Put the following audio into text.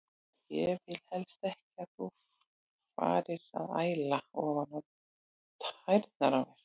Ég vil helst ekki að þú farir að æla ofan á tærnar á mér.